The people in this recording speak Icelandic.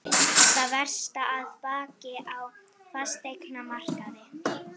Það versta að baki á fasteignamarkaði